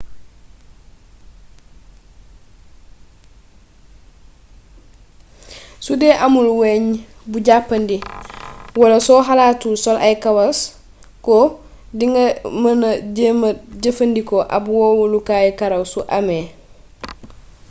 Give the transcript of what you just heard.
sudee amul weñ bu jàppandi wala soo xalaatul sol ay kawaas ko di nga mëna jéema jëfandikoo ab wowalukaayu karaw su amee